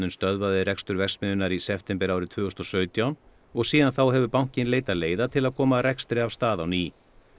stöðvaði rekstur verksmiðjunnar í september árið tvö þúsund og sautján og síðan þá hefur bankinn leitað leiða til að koma rekstri af stað á ný